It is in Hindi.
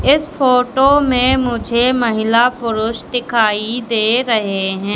इस फोटो में मुझे महिला पुरुष दिखाई दे रहे हैं।